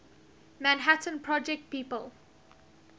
manhattan project people